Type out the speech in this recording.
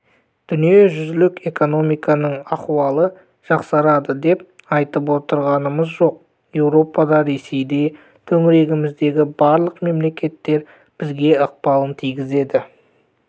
дүниежүзілік экономиканың ахуалы жақсарады деп айтып отырғанымыз жоқ еуропада ресейде төңірегіміздегі барлық мемлекеттер бізге ықпалын тигізеді